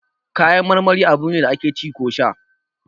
Kayan marmari abune da ake ci ko sha